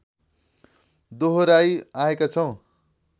दोहोर्‍याई आएका छौँ